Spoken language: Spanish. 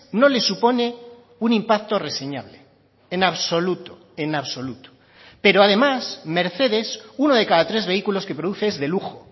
no le supone un impacto reseñable en absoluto en absoluto pero además mercedes uno de cada tres vehículos que produce es de lujo